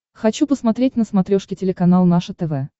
хочу посмотреть на смотрешке телеканал наше тв